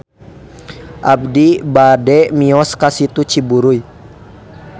Abi bade mios ka Situ Ciburuy